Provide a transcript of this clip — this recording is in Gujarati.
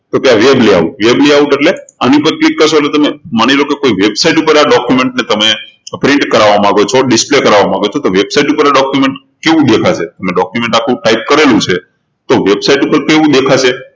તો કે આ web layoutweb layout એટલે એની ઉપર click કરશો એટલે તમે માની લો કે તમે કોઈ website ઉપર document ને print કરાવવા માંગો છો display કરાવવા માંગો છો તો website ઉપર આ document કેવું દેખાશે તમે document આખું type કરેલું છે તો website ઉપર કેવું દેખાશે